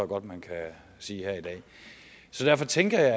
godt man kan sige her i dag så derfor tænkte